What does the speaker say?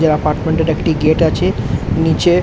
এই অ্যাপার্টমেন্ট -এর একটি গেট আছে নিচে ।